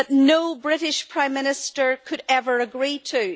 no British Prime Minister could ever agree to.